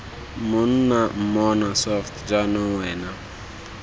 monna mmona soft jaanong wena